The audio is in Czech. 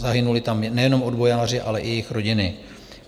Zahynuli tam nejenom odbojáři, ale i jejich rodiny.